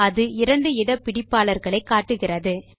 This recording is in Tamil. அது இரண்டு இட பிடிப்பாளர்களை காட்டுகிறது